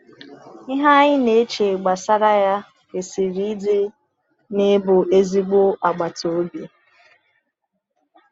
Ihe anyị na-eche gbasara ya kwesịrị ịdị na ịbụ ezigbo agbata obi.